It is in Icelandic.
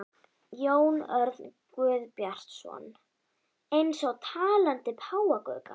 Jón Örn Guðbjartsson: Eins og talandi páfagaukar?